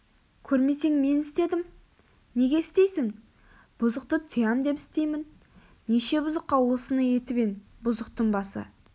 көрмесең мен істедім неге істейсің бұзықты тыям деп істеймін неше бұзыққа осыны етіп ең бұзықтың басы